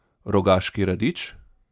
Rogaški radič?